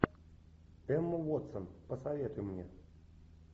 эмма уотсон посоветуй мне